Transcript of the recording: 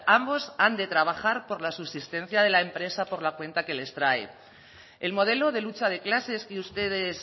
ambos han de trabajar por la subsistencia de la empresa por la cuenta que les trae el modelo de lucha de clases que ustedes